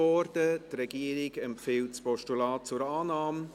Die Regierung empfiehlt das Postulat zur Annahme.